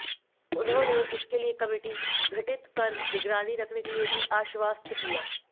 उन्होंने इसके लिए कमिटी गठित कर निगरानी रखने के लिए भी आश्वस्त किया